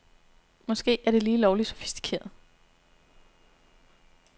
Måske er det lige lovligt sofistikeret.